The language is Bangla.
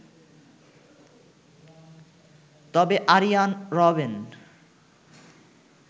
তবে আরিয়ান রবেন